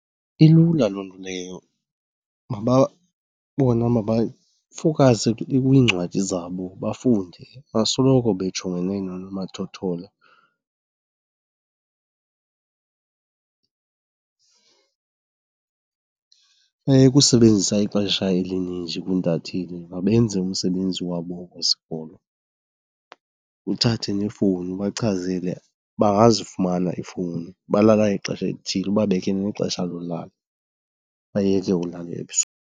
Ilula loo nto leyo. Bona mabafowukhase kwiincwadi zabo bafunde bangasoloko bejongene noonomathotholo. Bayeke usebenzisa ixesha elininji kwiintatheli, mabenze umsebenzi wabo wesikolo. Uthathe neefowuni ubachazele bangazifumana iifowuni, balala ngexesha elithile, ubabekele nexesha lolala bayeke ulala .